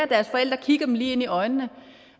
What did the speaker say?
deres forældre kigger dem lige i øjnene